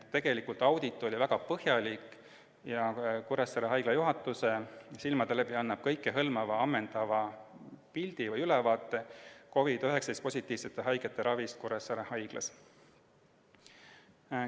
Tegelikult oli audit väga põhjalik ja Kuressaare Haigla juhatuse hinnangul andis see kõikehõlmava, ammendava ülevaate COVID-19 positiivsete haigete ravist Kuressaare Haiglas.